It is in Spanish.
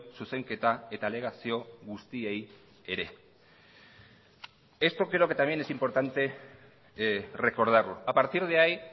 zuzenketa eta alegazio guztiei ere esto creo que también es importante recordarlo a partir de ahí